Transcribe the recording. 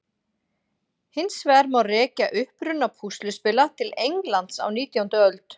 Hins vegar má rekja uppruna púsluspila til Englands á nítjándu öld.